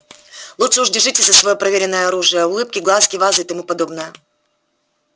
лучше уж держитесь за своё проверенное оружие улыбки глазки вазы и тому подобное